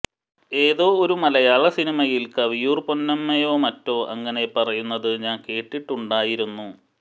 ഏതൊ ഒരു മലയാള സിനിമയിൽ കവിയൂർ പൊന്നമ്മയൊമറ്റൊ അങ്ങനെ പറയുന്നത് ഞാൻ കേട്ടിട്ടുണ്ടായിരുന്നു